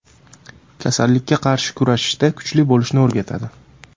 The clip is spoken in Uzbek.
Kasallikka qarshi kurashishda kuchli bo‘lishni o‘rgatadi.